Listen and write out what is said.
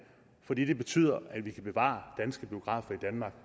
fordi det betyder at vi kan bevare danske biografer i danmark